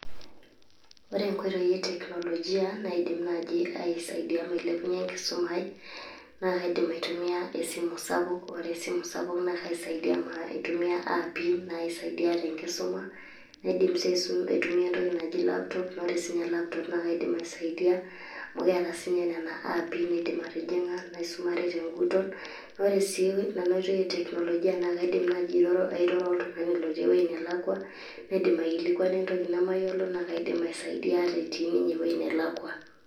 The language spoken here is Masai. Ore enkoitoi e teknolojia naidim naaji aisaidia mailepunye enkisuma aai naa kaidim aitumia esimu sapuk, ore esimu sapuk naa kaisaidia amu aitumia aapi naisaidia tenkisuma. Naidim sii aitumia entoki naji laptop, ore sinye laptop naake aidim aisaidia amu keeta sinye nena aapi nidim atijing'a naisumare teng'utot. Ore sii enaoitoi e teknolojia naa kaidim naaji airoro oltung'ani lotii ewuei nelakwa naidim aikilikwana entoki nemayiolo naake aidim aisaidia etii ninye ewueji nelakwa.